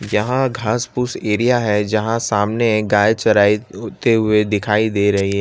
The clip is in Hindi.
यहां घास पूछ एरिया है जहां सामने गाय चराई होते हुए दिखाई दे रही है।